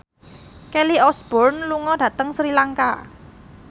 Kelly Osbourne lunga dhateng Sri Lanka